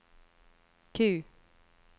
Q